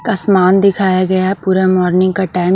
आसमान दिखाया गया है पूरा मॉर्निंग का टाइम --